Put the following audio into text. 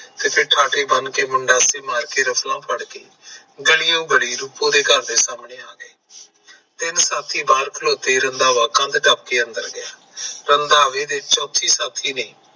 ਤੇ ਠਾਠੇ ਬਨ ਕੇ ਮੁੰਡਾ ਤੇ ਮਾਰ ਕੇ ਰਫਲਾ ਫੜ ਕੇ ਗਲੀਓ ਗਲੀ ਰੂਪੋ ਦੇ ਘਰ ਦੇ ਸਾਹਮਣੇ ਆ ਗਏ। ਤਿੰਨ ਸਾਥੀ ਬਾਹਰ ਖਲੋਤੇ ਰੰਧਾਵਾ ਕੰਧ ਟੱਪਕੇ ਅੰਦਰ ਗਿਆ। ਰੰਧਾਵੇ ਦੇ ਚੌਥੇ ਸਾਥੀ ਨੇ